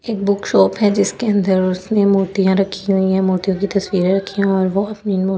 एक book shop है जिसके अंदर उसने मूर्तियां रखी हुई है मूर्तियों की तस्वीरें रखी हुई और वह अपनी मूर्ति से अपने ।